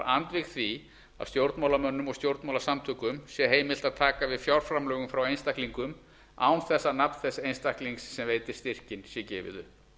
andvíg því að stjórnmálamönnum og stjórnmálasamtökum sé heimilt að taka við fjárframlögum frá einstaklingum án þess að nafn þess einstaklings sem veitir styrkinn sé gefið upp